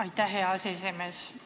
Aitäh, hea aseesimees!